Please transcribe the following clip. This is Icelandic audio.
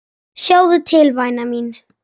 Sjáðu til væna mín.